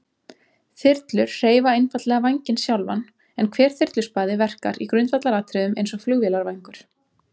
Þyrlur hreyfa einfaldlega vænginn sjálfan, en hver þyrluspaði verkar í grundvallaratriðum eins og flugvélarvængur.